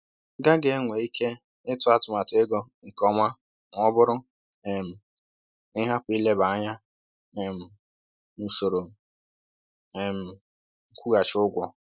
gaghị enwe ike ịtụ atụmatụ ego nke ọma ma ọ bụrụ um na ị hapụ ileba anya um na usoro um nkwụghachi ụgwọ.”